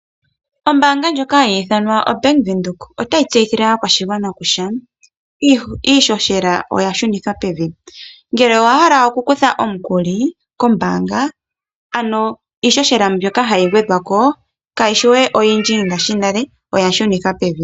Ombaanga ndjoka hayi ithanwa oBank Windhoek otayi tseyithile aakwashigwana kutya iihohela oya shunithwa pevi. Ngele owa hala okukutha omukuli kombaanga ano iihohela mbyoka hayi gwedhwa ko kayishi we oyindji ngashi nale oya shunithwa pevi.